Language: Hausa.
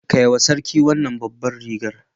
Kai wa sarki wannan babbar rigar.